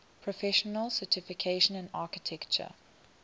professional certification in architecture